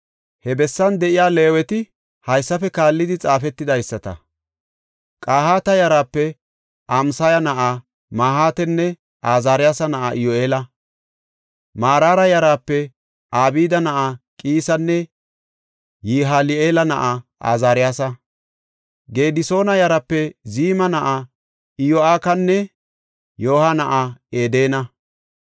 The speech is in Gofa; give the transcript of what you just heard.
He bessan de7iya Leeweti haysafe kaallidi xaafetidaysata. Qahaata yaraape Amasaya na7aa Mahaatanne Azaariyasa na7aa Iyyu7eela. Maraara yaraape Abda na7aa Qiisanne Yihali7eela na7aa Azaariyasa. Gedisoona yaraape Ziima na7aa Iyo7akinanne Yo7aaha na7aa Edena.